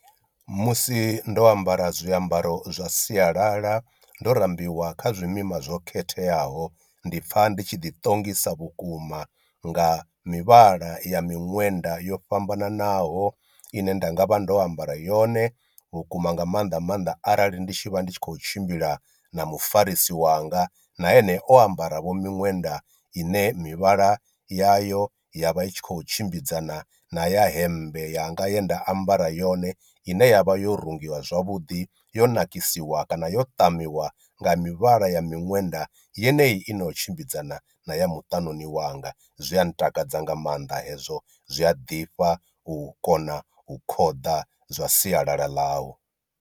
Musi ndo ambara zwiambaro zwa sialala ndo rambiwa kha zwimima zwo khetheaho ndi pfha ndi tshi ḓi ṱongisa vhukuma nga mivhala ya miṅwenda yo fhambananaho ine nda nga vha ndo ambara yone, vhukuma nga maanḓa maanḓa arali ndi tshi vha ndi tshi khou tshimbila na mufarisi wanga na ene o ambara vho miṅwenda ine mivhala ya yo ya vha i tshi khou tshimbidzana na ya hemmbe yanga ye nda ambara yone ine yavha yo rungiwa zwavhuḓi yo nakisiwa kana yo ṱamiwa nga mivhala ya miṅwenda yeneyi i no tshimbidzana na ya muṱani wanga. Zwia ntakadza nga maanḓa hezwo zwi a ḓifha u kona u khoḓa zwa sialala ḽau.